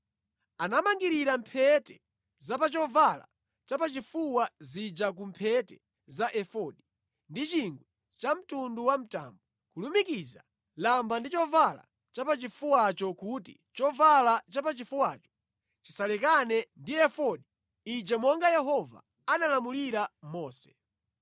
Anamangirira mphete za pa chovala chapachifuwa zija ku mphete za efodi ndi chingwe chamtundu wa mtambo, kulumikiza lamba ndi chovala chapachifuwacho kuti chovala chapachifuwacho chisalekane ndi efodi ija monga Yehova analamulira Mose.